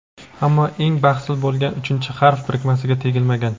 ammo eng bahsli bo‘lgan uchinchi harf birikmasiga tegilmagan.